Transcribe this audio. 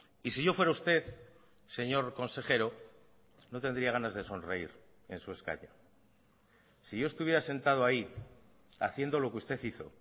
y si yo fuera usted señor consejero no tendría ganas de sonreír en su escaño si yo estuviera sentado ahí haciendo lo que usted hizo